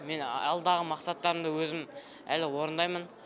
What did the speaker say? мен алдағы мақсаттарымды өзім әлі орындаймын